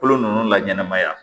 Kolo ninnu laɲɛnamaya